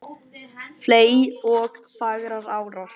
fley ok fagrar árar